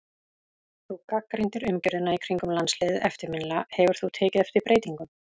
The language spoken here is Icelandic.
Þú gagnrýndir umgjörðina í kringum landsliðið eftirminnilega, hefur þú tekið eftir breytingum?